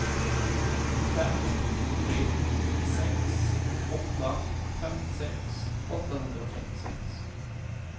fem tre sex åtta femtiosex åttahundratrettiosex